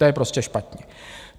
To je prostě špatně!